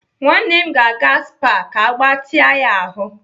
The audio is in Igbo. Nwanne m ga-aga SPA ka agbatịa ya ahụ.